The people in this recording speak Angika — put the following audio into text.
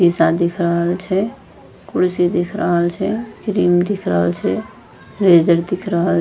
शीशा दिख रहल छै कुर्सी दिख रहल छै क्रीम दिख रहल छे रेजर दिख रहल --